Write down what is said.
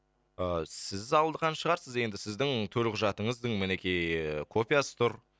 ыыы сіз алған шығарсыз енді сіздің төлқұжатыңыздың мінекей ііі копиясы тұр